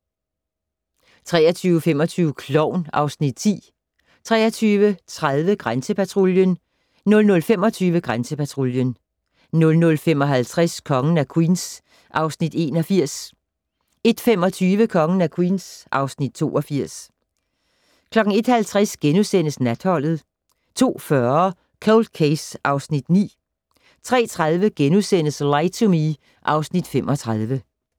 23:25: Klovn (Afs. 10) 23:30: Grænsepatruljen 00:25: Grænsepatruljen 00:55: Kongen af Queens (Afs. 81) 01:25: Kongen af Queens (Afs. 82) 01:50: Natholdet * 02:40: Cold Case (Afs. 9) 03:30: Lie to Me (Afs. 35)*